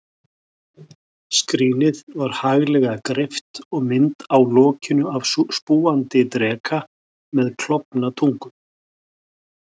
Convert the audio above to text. Skrínið var haglega greypt, og mynd á lokinu af spúandi dreka með klofna tungu.